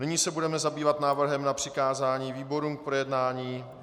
Nyní se budeme zabývat návrhem na přikázání výborům k projednání.